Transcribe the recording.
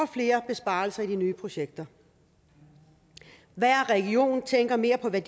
flere besparelser i de nye projekter hver region tænker mere på hvad